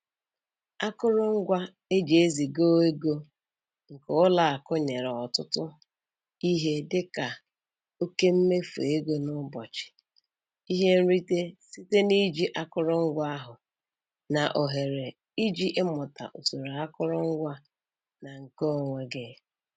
Akụrụngwa e ji eziga ego nke ụlọ akụ nyere ọtụtụ ihe dịka oke mmefu ego n'ụbọchị, ihe nrite site na-iji akụrụngwa ahụ, na ohere iji ịmụta usoro akụrụngwa na nke onwe gị